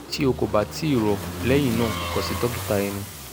ti o ko ba ti rọ lẹhinna kan si dokita ẹnu